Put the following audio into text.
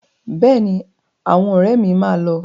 Bẹ́ẹ̀ni, àwọn ọ̀rẹ́ mi máa lọ.